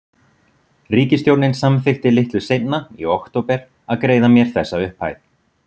Ríkisstjórnin samþykkti litlu seinna, í október, að greiða mér þessa upphæð.